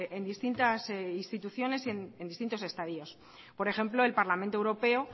en distintas instituciones y distintos estadios por ejemplo el parlamento europeo